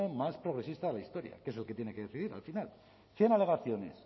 más progresista de la historia que es el que tiene que decidir al final cien alegaciones